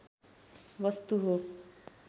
वस्तु हो